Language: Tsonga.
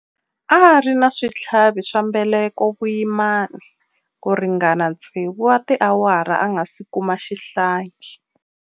A ri na switlhavi swa mbeleko vuyimani ku ringana tsevu wa tiawara a nga si kuma xihlangi.